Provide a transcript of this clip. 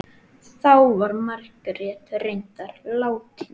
Þá var Margrét reyndar látin.